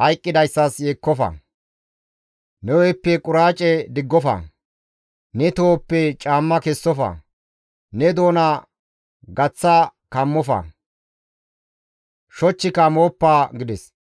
hayqqidayssas yeekkofa; ne hu7eppe quraace diggofa; ne tohoppe caamma kessofa; ne doona gaththa kammofa; shochchika mooppa» gides.